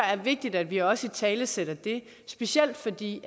er vigtigt at vi også italesætter det specielt fordi